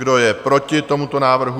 Kdo je proti tomuto návrhu?